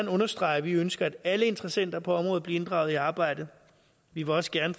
understrege at vi ønsker at alle interessenter på området bliver inddraget i arbejdet vi vil også gerne